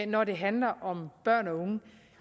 når det handler om børn og unge